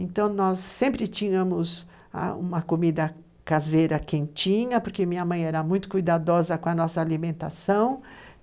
Então, nós sempre tínhamos ãh uma comida caseira quentinha, porque minha mãe era muito cuidadosa com a nossa alimentação.